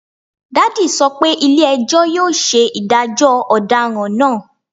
Daddy sọ pe ile-ẹjọ yoo ṣe idajọ ọdaràn naa